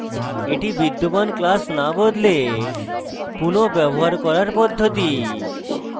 এটি বিদ্যমান class না বদলে পুনঃ ব্যবহার করার পদ্ধতি